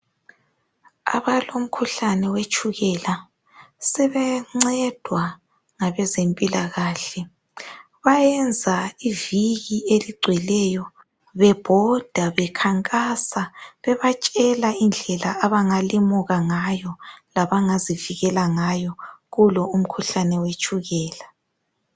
Abalomkhuhlane wetshukela sebencedwa ngabezempila kahle bayenza iviki eligweleyo bebhoda bekhankasa bebatshela indlela abangalimuka ngayo labangazivikela ngayo kulo umkhuhlane wetshukela.